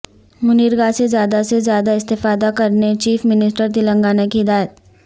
منریگاسے زیادہ سے زیادہ استفادہ کرنے چیف منسٹر تلنگانہ کی ہدایت